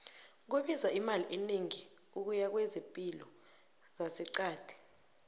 kubiza imali enegi ukuya kwezepilo zase qadi